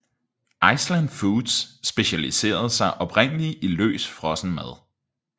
Iceland Foods specialiserede sig oprindeligt i løs frossen mad